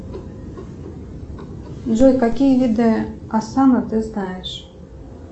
джой какие виды асана ты знаешь